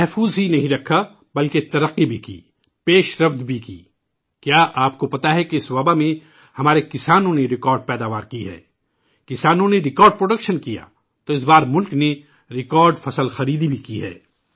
محفوظ ہی نہیں رکھا، بلکہ ترقی بھی کی، آگے بھی بڑھا! کیا آپ کو پتہ ہے کہ اس وباء میں بھی ہمارے کسانوں نے ریکارڈ پیداوار کی ہے ؟ کسانوں نے ریکارڈ پیداوار کی ، تو اس مرتبہ ملک نے ریکارڈ فصل خریدی بھی ہے